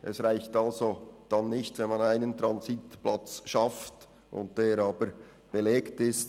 Es reicht also nicht, dass man einen Transitplatz schafft, dieser dann aber belegt ist.